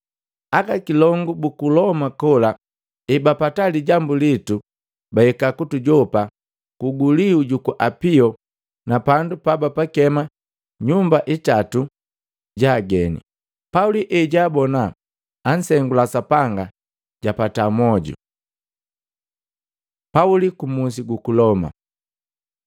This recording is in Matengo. Aka kilongu ku Loma kola ebapata lijambu litu, bahika kutujopa kuguliu juku Apio na pandu pabapakema nyumba itatu ja ageni. Pauli ejaabona ansengula Sapanga, japata moju. Pauli ku Musi guku Loma